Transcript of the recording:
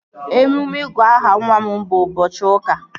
Emume ịgụ aha nwa m bụ ụbọchị ụka a